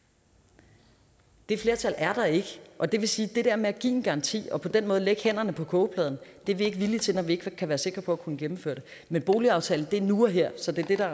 det det flertal er der ikke og det vil sige at det der med at give en garanti og på den måde lægge hænderne på kogepladen er vi ikke villige til når vi ikke kan være sikre på at kunne gennemføre det men boligaftalen er nu og her så det er